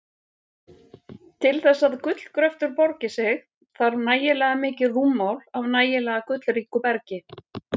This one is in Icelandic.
Til þess að gullgröftur borgi sig þarf nægilega mikið rúmmál af nægilega gullríku bergi.